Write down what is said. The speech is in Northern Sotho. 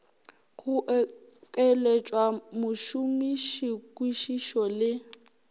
go okeletša mošomiši kwišišo le